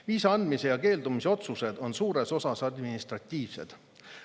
Viisa andmise ja keeldumise otsused on suures osas administratiivsed.